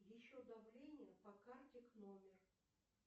еще давление по карте к номер